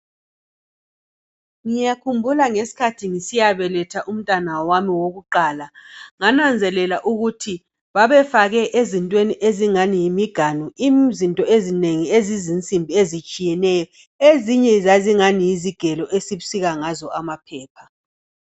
Ngiyakhumbula ngesikhathi ngisiya beletha umntwana wami wokuqala ngananzelela ukuthi babefake ezintweni ezingani yimiganu izinto ezinengi ezizinsimbi ezitshiyeneyo ezinye zazingani yizigelo esisika ngazo amaphepha.